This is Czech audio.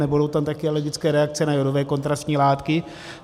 Nebudou tu také alergické reakce na jodové kontrastní látky.